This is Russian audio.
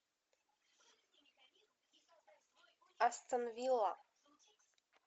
астон вилла